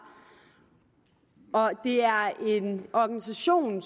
det er en organisation